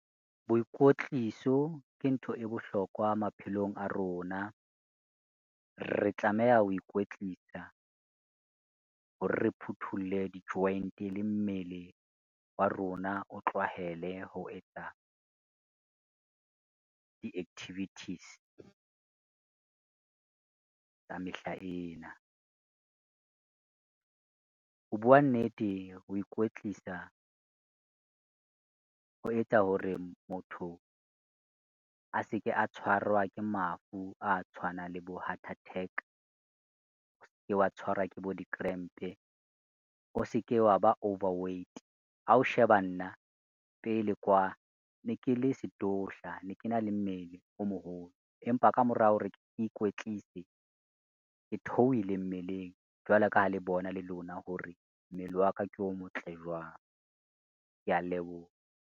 Boikwetliso ke ntho e bohlokwa maphelong a rona. Re tlameha ho ikwetlisa hore, re phuthulle di-joint le mmele wa rona o tlwahele ho etsa di-activities, tsa mehla ena. Ho bua nnete, ho ikwetlisa ho etsa hore motho a se ke a tshwarwa ke mafu a tshwanang le bo heart attack, ske wa tshwarwa ke bo di-cramp-e, o se ke wa ba overweight, ha o sheba nna pele kwa ne ke le sdudla, ne ke na le mmele o moholo empa ka morao hore ke ikwetlise ke theohile mmeleng jwalo ka ha le bona le lona hore mmele wa ka ke o motle jwang. Kea leboha.